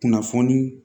Kunnafoni